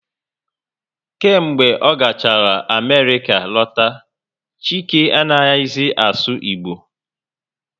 Kemgbe ọ gachara Amerịka lọta, Chike anaghị zi asụ Igbo